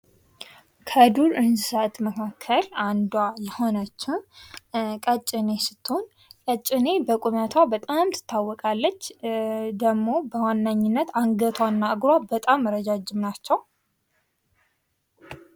ከዱር እንሰሳት መካከል አንዷ የሆነችው ቀጭኔ ስትሆን በቁመቷ በጣም ትታወቃለች ደግሞ በዋናነት አንገቷና እግሯ በጣም ረጃጅም ናቸው።